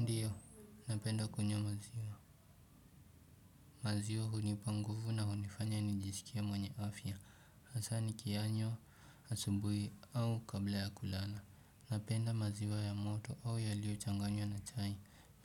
Ndiyo, napenda kunywa maziwa, maziwa hunipa nguvu na hunifanya nijisikie mwenye afya, hasa nikiyanywa asubuhi au kabla ya kulala. Napenda maziwa ya moto au yaliyochanganywa na chai.